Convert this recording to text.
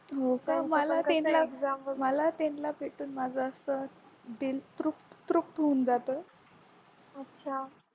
हो का मला त्यांना एकदा असं भेटून माझं असं दिल तृप्त तृप्त होऊन जातोय